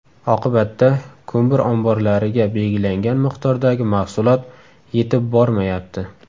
Oqibatda, ko‘mir omborlariga belgilangan miqdordagi mahsulot yetib bormayapti.